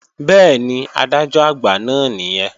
Bẹ́ẹ̀ni, Adájọ́-Àgbà náà nìyẹn